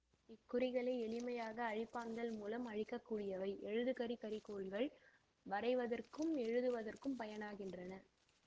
இக்குறிகளை எளிமையாக அழிப்பான்கள் மூலம் அழிக்கக்கூடியவை எழுதுகரி கரிக்கோல்கள் வரைவதற்கும் எழுதுவதற்கும் பயனாகின்றன